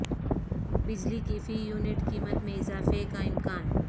بجلی کی فی یونٹ قیمت میں اضافے کا امکان